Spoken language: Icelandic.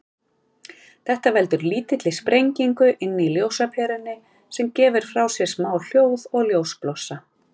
Þetta veldur lítilli sprengingu inni í ljósaperunni, sem gefur frá sér smá hljóð og ljósblossa.